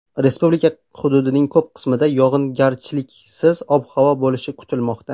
Respublika hududining ko‘p qismida yog‘ingarchiliksiz ob-havo bo‘lishi kutilmoqda.